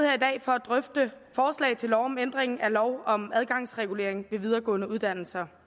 for at drøfte forslag til lov om ændring af lov om adgangsregulering ved videregående uddannelser